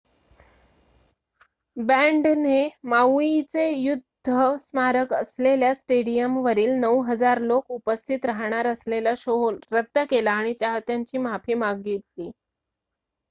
बँडने माऊइचे युद्ध स्मारक असलेल्या स्टेडिअमवरील ९,००० लोक उपस्थित राहणार असलेला शो रद्द केला आणि चाहत्यांची माफी मागितली